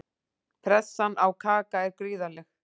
Pressan á Kaka er gríðarleg.